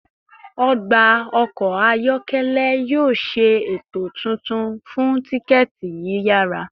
Ọgba ọkọ ayọkẹlẹ yoo ṣe eto tuntun fun tikẹti yiyara